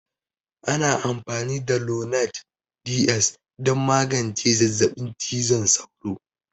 Ana amfani da lonart DS don magance zazzabin cizon sauro